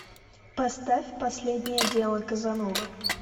поставь последнее дело казановы